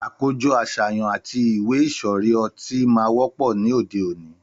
Àkójõ àsáyan atí ìwé ìsõrí õtí má wõpõ ní òdé óní